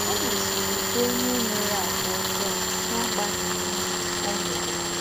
Ó mésìrì bụ̀ ǒnyẹ́ nwèrè àgwà́ ọ̌jọọ́ n’agbághị̀ mmá ọ́ nwèrè.